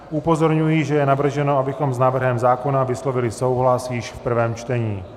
Upozorňuji, že je navrženo, abychom s návrhem zákona vyslovili souhlas již v prvém čtení.